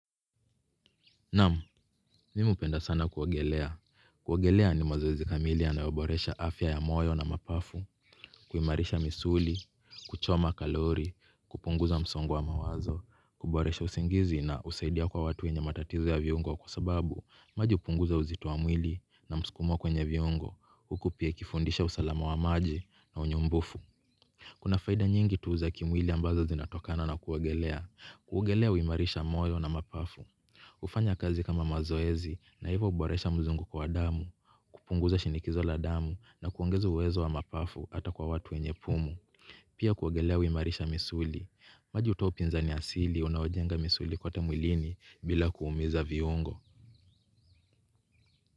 Naamu, mimi upenda sana kuogelea. Kuogelea ni mazoezi kamili yanayo boresha afya ya moyo na mapafu, kuimarisha misuli, kuchoma kalori, kupunguza msongo wa mawazo, kuboresha usingizi na usaidia kwa watu wenye matatizo ya viungo kusababu maji upunguza uzito wa mwili na msukumo kwenye viungo, huku pia ikifundisha usalama wa maji na unyumbufu. Kuna faida nyingi tu za kimwili ambazo zinatokana na kuogelea. Kuogelea uimarisha moyo na mapafu. Ufanya kazi kama mazoezi na hivyo uboresha mzunguko wa damu. Kupunguza shinikizo la damu na kuongeza uwezo wa mapafu hata kwa watu wenye pumu. Pia kuogelea huimarisha misuli. Maji utoa upinzani asili unaojenga misuli kwote mwilini bila kuumiza viungo.